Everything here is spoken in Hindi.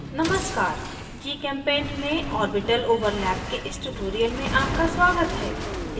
नमस्कार gchempaint में orbital overlap के इस tutorial में आपका स्वागत है